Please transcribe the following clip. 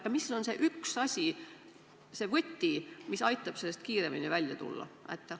Ja mis on see üks asi, see võti, mis aitaks sellest kiiremini välja tulla?